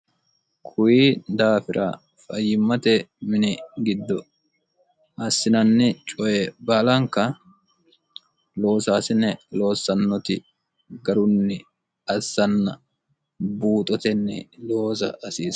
kuyi daafira fayyimmate mini giddo assinanni coye baalanka loosaasine loossannoti garunni assanna buuxotenni looza asiiro